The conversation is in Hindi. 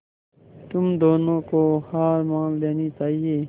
तुम दोनों को हार मान लेनी चाहियें